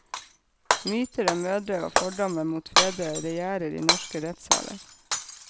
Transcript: Myter og mødre og fordommer mot fedre regjerer i norske rettsaler.